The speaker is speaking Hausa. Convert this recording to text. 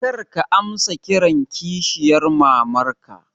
Kar ka amsa kiran kishiyar mamanka